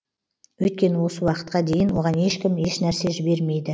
өйткені осы уақытқа дейін оған ешкім еш нәрсе жібермейді